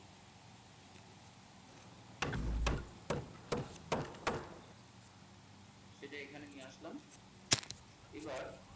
সেটা এখানে নিয়ে আসলাম এবার,